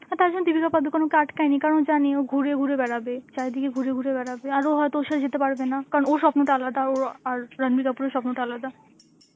আর তার জন্য দীপিকা পাডুকোন ওকে আটকায়নি কারণ ও জানে ও ঘুরে ঘুরে বেড়াবে, চারিদিকে ঘুরে ঘুরে বেড়াবে, আর ও হয়তো ওর সাথে যেতে পারবে না, কারণ ওর স্বপ্নটা আলাদা আর ওর~ আর রাণবীর কাপুরের স্বপ্নটা আলাদা.